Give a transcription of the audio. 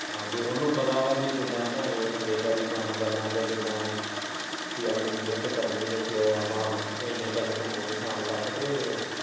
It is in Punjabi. ਹਾਂ ਪੀ ਉਨੂੰ ਪਤਾ ਵਾ ਕਿੱਦਾਂ ਨੰਗੇ ਪੈਰੀ ਕੰਮ ਕਰਨਾ ਜਾਂ ਕਿੱਦਾਂ ਉਹ ਪੀ ਆਪਣੀ ਮੇਹਨਤ ਕਰਨੀ ਤੇ ਫੇਰ ਆਪਣਾ ਇੰਨੇ ਪੈਹੇ ਕਮਾਉਣੇ ਸ਼ਾਮ ਤੱਕ ਤੇ।